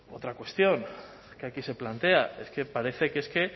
otra cuestión que aquí se plantea es que parece que es que